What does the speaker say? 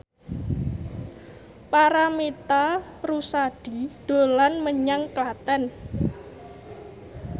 Paramitha Rusady dolan menyang Klaten